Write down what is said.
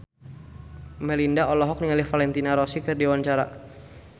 Melinda olohok ningali Valentino Rossi keur diwawancara